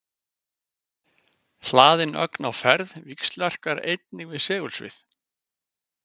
Hlaðin ögn á ferð víxlverkar einnig við segulsvið.